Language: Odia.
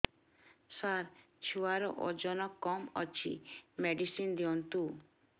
ସାର ଛୁଆର ଓଜନ କମ ଅଛି ମେଡିସିନ ଦିଅନ୍ତୁ